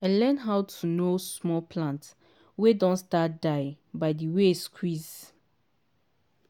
i learn how to know small plant wey don start die by the way squeeze